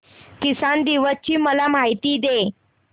किसान दिवस ची मला माहिती दे